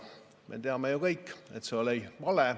Me teame ju kõik, et see on vale.